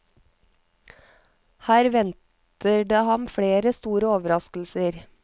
Her venter det ham flere store overraskelser.